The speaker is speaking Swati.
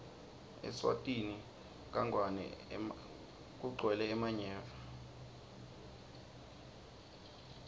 eswatini kagwele emanyeva